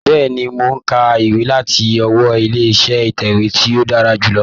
Bẹ́ẹ̀ni, mò ń ka ìwé láti ọwọ́ ilé iṣẹ́ ìtẹ̀wé tí ó dára jù lọ.